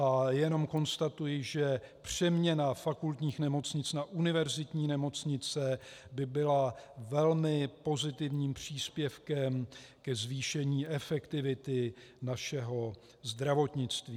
A jenom konstatuji, že přeměna fakultních nemocnic na univerzitní nemocnice by byla velmi pozitivním příspěvkem ke zvýšení efektivity našeho zdravotnictví.